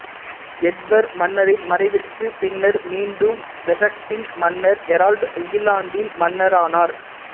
Edward மன்னரின் மறைவிற்கு பின்னர் மீண்டும் வெசக்சின் மன்னர் ஹெரால்டு இங்கிலாந்தின் மன்னரானார்